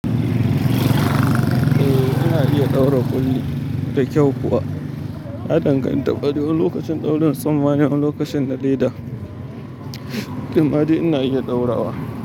Eh, ina iya ɗaura ƙuli da kyau kuwa. Ya danganta kwarai wane lokacin ɗaurin tsumma ne wani lokacin lokacin na leda, imma dai ina iya ɗaurawa.